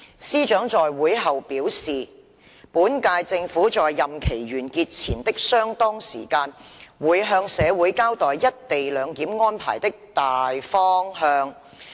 司長在會後表示，本屆政府在任期完結前的相當時間，會向社會交代一地兩檢安排的"大方向"。